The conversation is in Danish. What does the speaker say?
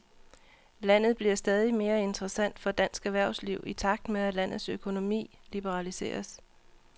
Landet bliver stadig mere interessant for dansk erhvervsliv i takt med, at landets økonomi liberaliseres.